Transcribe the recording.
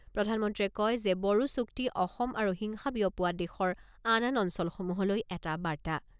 প্ৰধানমন্ত্ৰীয়ে কয় যে, বড়ো চুক্তি অসম আৰু হিংসা বিয়পোৱা দেশৰ আন আন অঞ্চলসমূহলৈ এটা বাৰ্তা।